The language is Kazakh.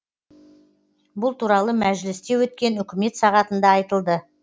бұл туралы мәжілісте өткен үкімет сағатында айтылды